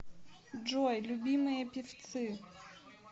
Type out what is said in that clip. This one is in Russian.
джой любимые певцы